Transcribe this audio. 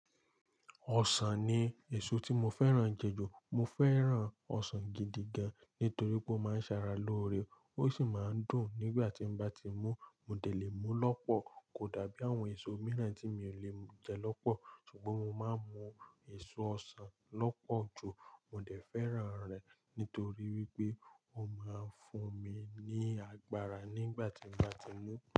Ọsàn ni èso tí mo fẹ́ràn je jù. Mo fẹ́ràn ọsàn gidi gan nítorí pé ó máa ń ṣe ara lóore. Ó sì máa ń dùn nígbà tí n bá ti mú. Mo dẹ̀ lè mú lọ́pọ̀. Kò dàbí àwọn èso mìíràn tí mi ò lè jẹ lọ́pọ̀, ṣùgbọ́n mo máa ń mú èso ọsàn lọ́pọ̀ jù. Mo dẹ̀ fẹ́ràn rẹ̀ nítorí wípé ó máa ń fún mi ní agbára nígbà tí n bá ti mú.